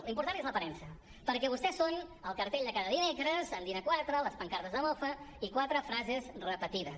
l’important és l’aparença perquè vostès són el cartell de cada dimecres amb dina quatre les pancartes de mofa i quatre frases repetides